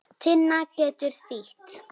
Lítum fyrst á sögnina brosa